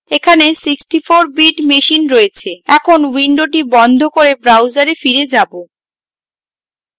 এখানে 64 bit machine রয়েছে এখন window বন্ধ করে browser ফিরে যাবো